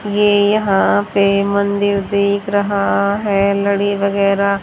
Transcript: ये यहां पे मंदिर दिख रहा है लड़ी वगेरा--